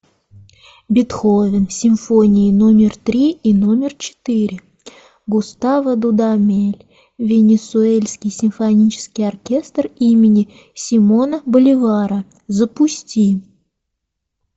бетховен симфонии номер три и номер четыре густаво дудамель венесуэльский симфонический оркестр имени симона боливара запусти